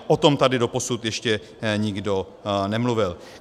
O tom tady doposud ještě nikdo nemluvil.